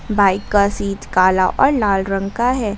Bike का seat काला और लाल रंग का है।